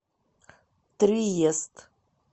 триест